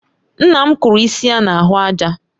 Nna m kụrụ isi ya na ahụ àjà